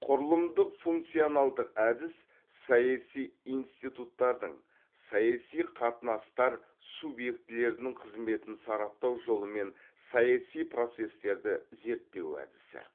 құрылымдық функционалдық әдіс саяси институттардың саяси қатынастар субъектілерінің қызметін сараптау жолымен саяси процестерді зерттеу әдісі